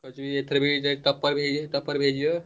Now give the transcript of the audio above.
ଆଉ ଏଥର ।